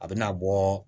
A bɛna bɔ